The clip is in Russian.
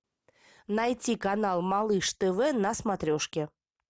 найти канал малыш тв на смотрешке